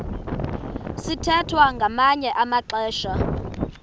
sithwethwa ngamanye amaxesha